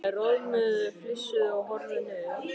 Þær roðnuðu, flissuðu og horfðu niður.